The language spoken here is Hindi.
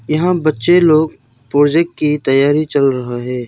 यहां बच्चे लोग प्रोजेक्ट की तैयारी चल रहा है।